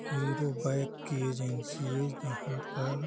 hero bike की agency है जहाँ पर --